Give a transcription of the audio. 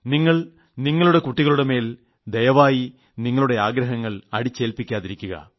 നിങ്ങൾ നിങ്ങളുടെ കുട്ടികളുടെമേൽ ദയവായി നിങ്ങളുടെ ആഗ്രഹങ്ങൾ അടിച്ചേൽപ്പിക്കാതിരിക്കുക